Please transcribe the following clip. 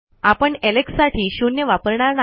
आपण एलेक्स साठी शून्य वापरणार नाही